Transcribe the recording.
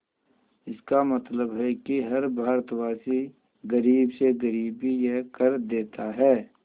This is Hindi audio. इसका मतलब है कि हर भारतवासी गरीब से गरीब भी यह कर देता है